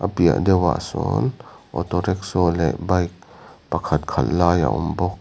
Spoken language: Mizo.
piah deuhah sawn auto rikshaw leh bike pakhat khalh lai a awm bawk.